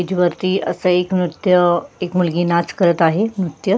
stage वरती अस एक नृत्य एक मुलगी नाच करत आहे नृत्य--